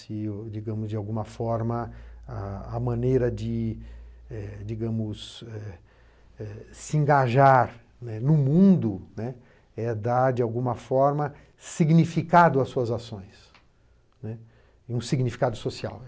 Se, digamos de alguma forma, a a maneira de eh digamos eh se engajar no mundo, né, é dar, de alguma forma, significado às suas ações, né, um significado social.